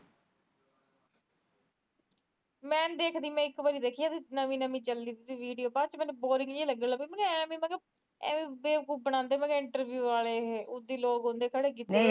ਮੈਨੀ ਦੇਖਦੀ ਮੈ ਇੱਕ ਵਾਰੀ ਦੇਖੀ ਜਦ ਨਵੀ ਨਵੀ ਚੱਲੀ ਵੀਡੀਓ ਬਾਅਦ ਚ ਮੈਨੂੰ ਬੌਰਿਗ ਜੀ ਲੱਗਣ ਐਮੇ ਬੇਫਕੂਫ ਬਣਾਦੇ interview ਆਲੇ ਉਦੀ ਲੋਕ ਹੁੰਦੇ ਖੜੇ ਕੀਤੇ ਵੇ